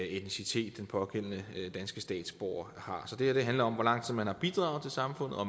etnicitet den pågældende danske statsborger har så det her handler om hvor lang tid man har bidraget til samfundet og